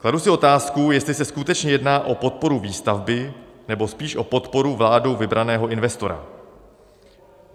Kladu si otázku, jestli se skutečně jedná o podporu výstavby, nebo spíš o podporu vládou vybraného investora.